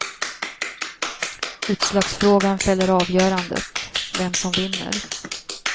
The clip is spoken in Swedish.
Utslagsfrågan fäller avgörandet, vem som vinner.